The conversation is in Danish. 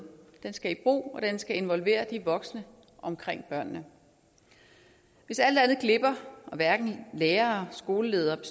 den skal i brug og den skal involvere de voksne omkring børnene hvis alt andet glipper og hverken lærerne skolelederen